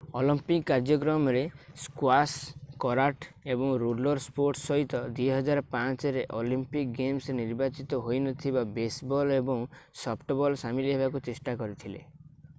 Olympic କାର୍ଯ୍ୟକ୍ରମରେ squash karate ଏବଂ roller sports ସହିତ 2005ରେ ଅଲିମ୍ପିକ୍ ଗେମ୍ସରେ ନିର୍ବାଚିତ ହୋଇନଥିବା ବେସବଲ୍ ଏବଂ ସଫ୍ଟବଲ୍ ସାମିଲ ହେବାକୁ ଚେଷ୍ଟା କରିଥିଲେ